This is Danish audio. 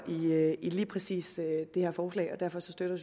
i lige præcis det her forslag og derfor støtter